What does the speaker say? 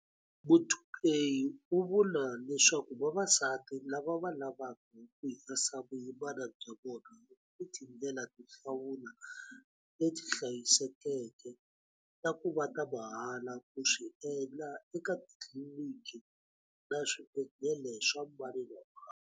Muthuphei u vula leswaku vavasati lava va lavaka ku herisa vuyimana bya vona va ni tindlela to hlawula leti hlayisekeke na ku va ta mahala ku swi endla eka titliliniki na swibedhlele swa mani na mani.